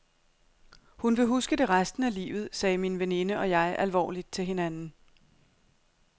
Hun vil huske det resten af livet, sagde min veninde og jeg alvorligt til hinanden.